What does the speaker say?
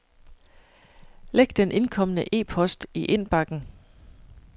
Læg den indkomne e-post i indbakken.